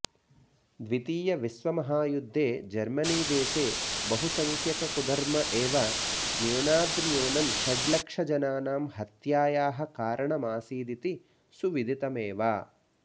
द्वितीयविश्वमहायुद्धे जर्मनीदेशे बहुसंख्यककुधर्म एव न्यूनाद्न्यूनं षड्लक्षजनानां हत्यायाः कारणमासीदिति सुविदितमेव